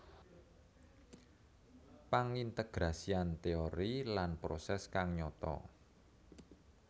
Pangintegrasian teori lan proses kang nyata